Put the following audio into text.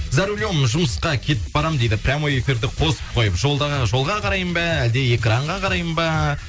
за рулем жұмысқа кетіп барамын дейді прямой эфирді қосып қойып жолға қараймын ба әлде экранға қараймын ба